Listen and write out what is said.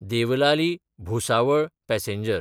Devlali-Bhusawal passenger